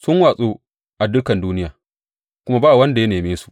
Sun watsu a dukan duniya, kuma ba wanda ya neme su.